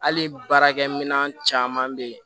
Hali baarakɛminɛn caman bɛ yen